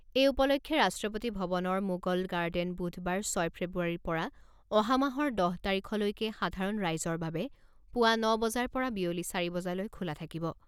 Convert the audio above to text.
এই উপলক্ষে ৰাষ্ট্ৰপতি ভৱনৰ মোগল গাৰ্ডেন বুধবাৰ ছয় ফেব্ৰুৱাৰীৰ পৰা অহা মাহৰ দহ তাৰিখলৈকে সাধাৰণ ৰাইজৰ বাবে পুৱা ন বজাৰ পৰা বিয়লি চাৰি বজালৈ খোলা থাকিব।